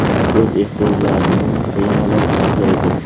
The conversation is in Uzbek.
O‘z ehtiyojlarimni bemalol qoplaydi.